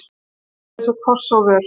Hann var eins og koss á vör.